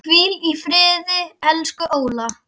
Hvíl í friði, elsku Óla.